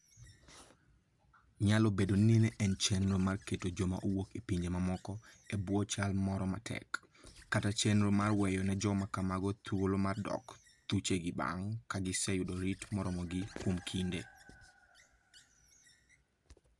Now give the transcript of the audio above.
Nyalo bedo ni ne en chenro mar keto joma owuok e pinje mamoko e bwo chal moro matek, kata chenro mar weyo ne joma kamago thuolo mar dok thuchegi bang ' ka giseyudo rit moromogi kuom kinde.